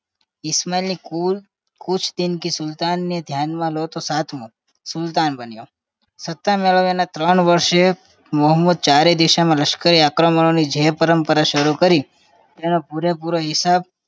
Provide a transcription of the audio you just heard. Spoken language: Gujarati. ઈશમાલ કુલ કુછ દિન કે સુલતાને ધ્યાનમાં લો તો સાતમો સુલતાન બન્યો સતત અલગ-અલગ ત્રણ વર્ષએ મોહમ્મદે ચારે દિશાઓમાં લશ્કરની જે પરંપરા સારું કરી તેનો પૂરે પૂરો હિસાબ